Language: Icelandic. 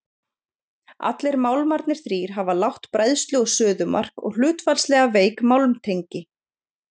allir málmarnir þrír hafa lágt bræðslu og suðumark og hlutfallslega veik málmtengi